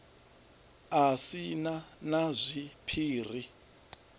a si na na zwiphiri